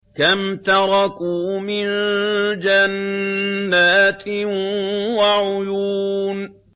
كَمْ تَرَكُوا مِن جَنَّاتٍ وَعُيُونٍ